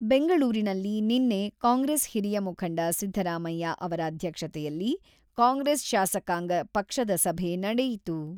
ಬೆಂಗಳೂರಿನಲ್ಲಿ ನಿನ್ನೆ ಕಾಂಗ್ರೆಸ್ ಹಿರಿಯ ಮುಖಂಡ ಸಿದ್ದರಾಮಯ್ಯ ಅವರ ಅಧ್ಯಕ್ಷತೆಯಲ್ಲಿ ಕಾಂಗ್ರೆಸ್ ಶಾಸಕಾಂಗ ಪಕ್ಷದ ಸಭೆ ನಡೆಯಿತು.